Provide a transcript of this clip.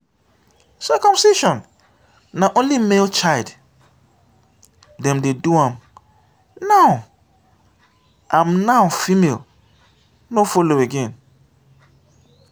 circumcision na only male child dem dey do am now am now female no follow again.